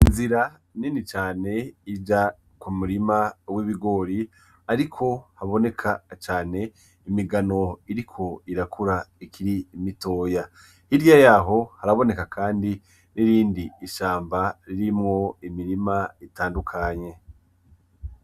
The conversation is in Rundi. Inzira nini cane ija ku murima w’ibigori ariko haboneka cane imigano iriko irakura ikiri mitoya. Hirya yaho haraboneka kandi n’irindi shamba ririmwo imirima itandukanye.